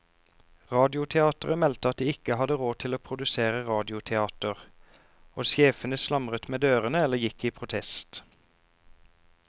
Radioteateret meldte at de ikke hadde råd til å produsere radioteater, og sjefene slamret med dørene eller gikk i protest.